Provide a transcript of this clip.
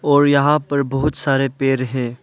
और यहां पर बहोत सारे पेड़ हैं।